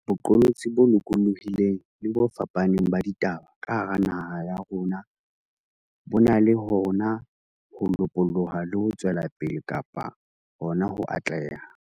boqolotsi bo lokolohileng le bo fapaneng ba ditaba ka hara naha ya rona bo na le hona ho lopoloha le ho tswela pele kapa hona ho atleha.